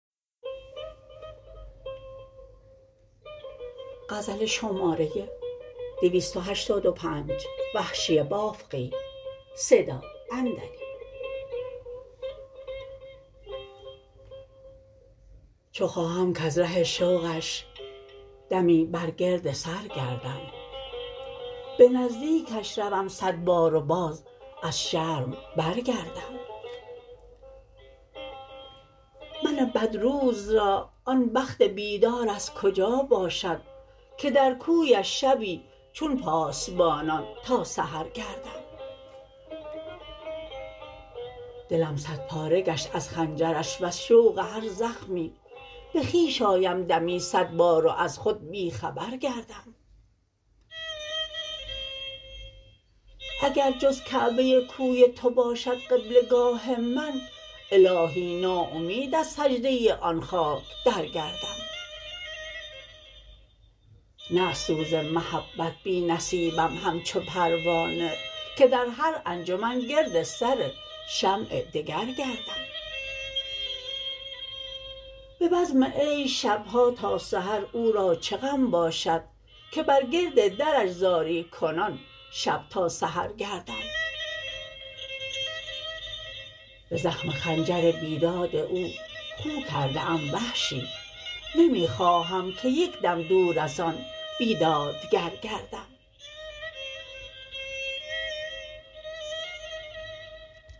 چو خواهم کز ره شوقش دمی بر گرد سر گردم به نزدیکش روم سد بار و باز از شرم برگردم من بد روز را آن بخت بیدار از کجا باشد که در کویش شبی چون پاسبانان تا سحر گردم دلم سد پاره گشت از خنجرش و ز شوق هر زخمی به خویش آیم دمی سد بار و از خود بیخبر گردم اگر جز کعبه کوی تو باشد قبله گاه من الاهی ناامید از سجده آن خاک در گردم نه از سوز محبت بی نصیبم همچو پروانه که در هر انجمن گرد سر شمع دگر گردم به بزم عیش شبها تا سحر او را چه غم باشد که بر گرد درش زاری کنان شب تا سحر گردم به زخم خنجر بیداد او خو کرده ام وحشی نمی خواهم که یک دم دور از آن بیدادگر گردم